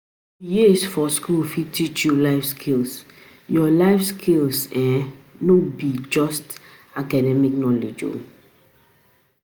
Your years for school fit teach you life skills, you life skills, no um be um just academic knowledge. um